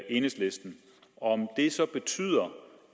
enhedslisten om det så betyder